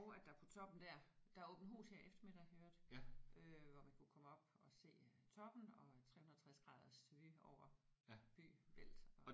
Og at der på toppen dér der er åbent hus her i eftermiddag i øvrigt øh hvor man kunne komme op og se toppen og 360 graders vue over by bælt og